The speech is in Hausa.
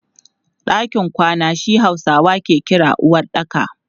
Ɗakin kwana shi Hausawa ke kira uwaɗɗaka.